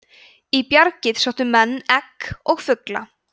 í bjargið sóttu menn egg og fugla